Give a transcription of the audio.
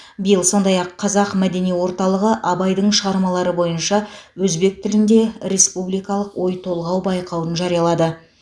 биыл сондай ақ қазақ мәдени орталығы абайдың шығармалары бойынша өзбек тілінде республикалық ойтолғау байқауын жариялады